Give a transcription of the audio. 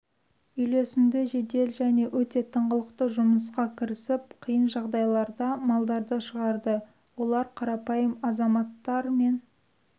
үйлесімді жедел және өте тыңғылықты жұмысқа кірісіп қиын жағдайда малдарды шығарды олар қарапайым азаматтар мен